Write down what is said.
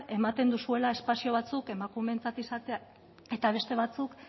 ematen duzuela espazio batzuk emakumeentzat izatea eta beste batzuk